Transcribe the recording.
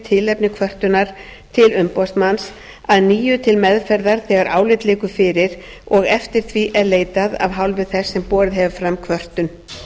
tilefni kvörtunar til umboðsmanns að nýju til meðferðar þegar álit liggur fyrir og eftir því er leitað af hálfu þess sem borið hefur fram kvörtun